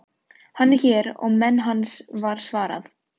Hann er hér og menn hans, var svarað.